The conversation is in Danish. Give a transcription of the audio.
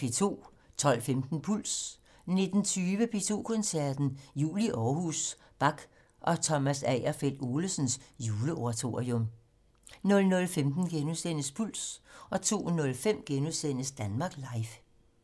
12:15: Puls 19:20: P2 Koncerten - Jul i Aarhus: Bach og Thomas Agerfeldt Olesens Juleoratorium 00:15: Puls * 02:03: Danmark Live *